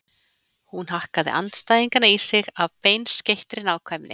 Hún hakkaði andstæðingana í sig af beinskeyttri nákvæmni.